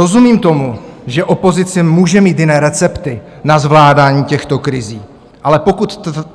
Rozumím tomu, že opozice může mít jiné recepty na zvládání těchto krizí, ale